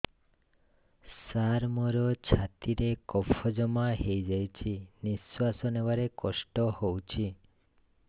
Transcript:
ସାର ମୋର ଛାତି ରେ କଫ ଜମା ହେଇଯାଇଛି ନିଶ୍ୱାସ ନେବାରେ କଷ୍ଟ ହଉଛି